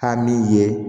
Taa min ye